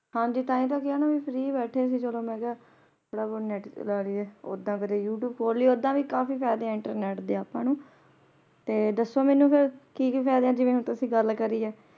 ਹਾਂਜੀ ਤਾਂ ਹੀ ਕਿਹਾ ਨਾ ਫ੍ਰੀ ਬੈਠੇ ਸੀ ਚਲੋ ਮੈਂ ਕਿਹਾ ਥੋੜਾ ਬਹੁਤ ਨੈਟ ਚਲਾ ਲੀਯੇ ਓਹਦਾ ਫਿਰ ਯੂਤੁਬੇ ਖੋਲ ਲਿਆ ਓਹਦਾ ਵੀ ਕਾਫੀ ਫਾਇਦੇ ਹੈ internet ਦੇ ਅੱਪਾ ਨੂੰ ਤੇ ਦੱਸੋ ਮੈਨੇ ਫੇਰ ਕਿ-ਕਿ ਫਾਇਦੇ ਜਿਵੇ ਤੁਸੀ ਗੱਲ ਕਰਿ ਹੈ।